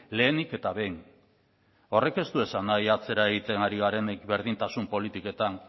lehenik eta behin horrek ez du esan nahi atzera egiten ari garenik berdintasun politiketan